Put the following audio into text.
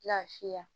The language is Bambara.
Lafiya